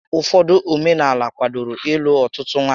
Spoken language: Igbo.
Ụfọdụ omenaala kwádoro ịlụ ọtụtụ nwaanyị